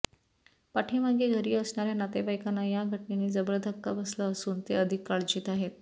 पाठीमागे घरी असणार्या नातेवाइकांना या घटनेने जबर धक्का बसला असून ते अधिक काळजीत आहेत